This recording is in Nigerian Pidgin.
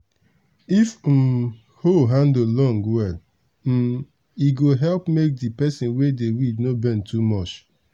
if um hoe handle long well um e go help make the person wey dey weed no bend too much.